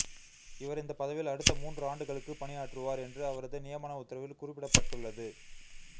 இவர் இந்த பதவியில் அடுத்த மூன்று ஆண்டுகளுக்கு பணியாற்றுவார் என்று அவரது நியமன உத்தரவில் குறிப்பிடப்பட்டுள்ளது